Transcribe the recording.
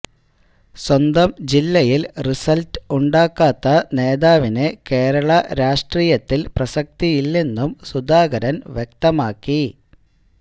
സ്വന്തം ജില്ലയിൽ റിസൽറ്റ് ഉണ്ടാക്കാത്ത നേതാവിന് കേരള രാഷ്ട്രീയത്തിൽ പ്രസക്തിയില്ലെന്നും സുധാകരൻ വ്യക്തമാക്കി